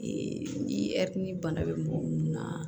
ni ni bana bɛ mɔgɔ minnu na